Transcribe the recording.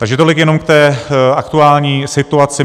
Takže tolik jenom k té aktuální situaci.